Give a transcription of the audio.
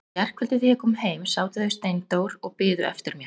Í gærkvöldi þegar ég kom heim sátu þau Steindór og biðu eftir mér.